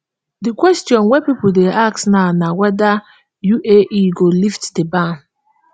di question wey pipo dey ask now na weda uae go lift di ban